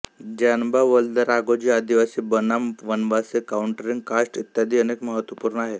ज्यानबा वल्द राघोजी आदिवासी बनाम वनवासी काउंटरींग कास्ट इत्यादी अनेक महत्त्वपूर्ण आहे